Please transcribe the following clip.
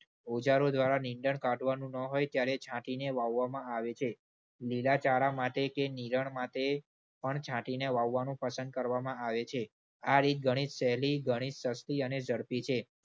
ઓજારો દ્વારા નીંદણ કાઢવાનું ન હોય ત્યારે છાંટીને વાવવામાં આવે છે. લીલાચારા માટે કે નીરણ માટે પણ છાંટીને વાવવાનું પસંદ કરવામાં આવે છે. આ રીત ઘણી સહેલી ઘણી સસ્તી અને ઝડપી છે.